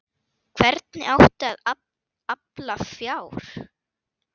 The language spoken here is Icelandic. Hvernig átti að afla fjár?